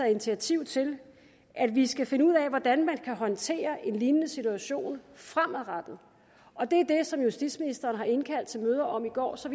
initiativ til at vi skal finde ud af hvordan man kan håndtere en lignende situation fremadrettet og det er det som justitsministeren har indkaldt til møder om i går så